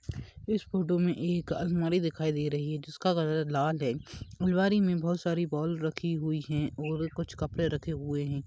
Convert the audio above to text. इस फोटो में एक अलमारी दिखाई दे रही है जिसका कलर लाल है अलमारी में बहुत सारी बॉल रखी हुई है और कुछ कपडे रखे हुए है।